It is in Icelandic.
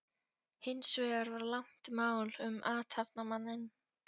Hins vegar var langt mál um athafnamanninn